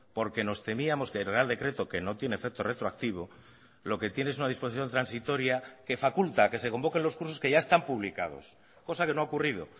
porque nos temíamos que el real decreto que no tiene efecto retroactivo lo que tiene es una disposición transitoria que faculta que se convoquen los cursos que ya están publicados cosa que no ha ocurrido